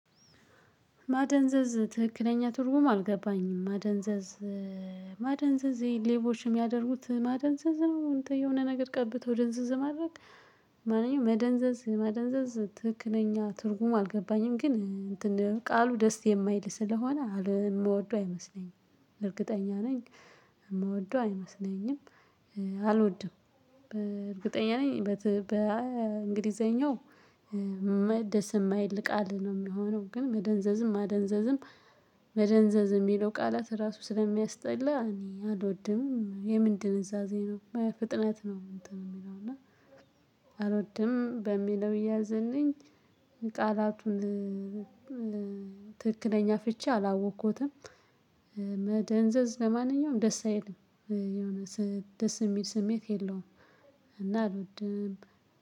ማደንዘዝ ትክክለኛ ትርጉም አልገባኝም ማደንዘዝ ይሄ ሌቦችን የሚያደርጉት ማደንዘዝ ነው እንትን የሆነ ነገር ቀብተው ደንዘዝ ማድረግ። ለማንኛውም መደንዘዝ ማደንዘዝ ትክክለኛ ትርጉም አልገባኝም ግን ቃሉ ደስ የማይል ስለሆነ የምወደው አይመስለኝም። እርግጠኛ ነኝ። የምወደው አይመስለኝም። አልወድም በእርግጠኛ ነኝ። በእንግሊዘኛው ደሰ ማይል ቃል ነው የሚሆነው። ግን መደንዘዝም ማደንዘዝም መደንዘዝ የሚለው ቃላት ራሱ ስለሚያስጠላ እኔ አልወድም። የምን ድንዛዜ ፍጥነት ነው የሚለው እና አልወድም በሚለው ይያዝልኝ። ቃላቱን ትክክለኛ ፍቺ አላወቅኩትም። መደንዘዝ ለማንኛውም ደስ አይልም። የሆነ ደስ የሚል ስሜት የለውም። እና አልወድም።